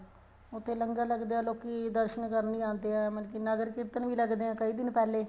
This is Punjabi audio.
ਉੱਥੇ ਲੰਗਰ ਲੱਗਦੇ ਹੈ ਲੋਕੀਂ ਦਰਸ਼ਨ ਕਰਨ ਲਈ ਆਦੇ ਹੈ ਮਤਲਬ ਕੀ ਨਗਰ ਕੀਰਤਨ ਵੀ ਲੱਗਦੇ ਹੈ ਕਈ ਦਿਨ ਪਹਿਲੇ